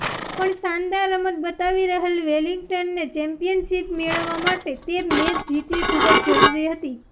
પણ શાનદાર રમત બતાવી રહેલ વેલિંગ્ટનને ચેમ્પિયનશિપ મેળવવા માટે તે મેચ જીતવી ખૂબ જરુરી હતી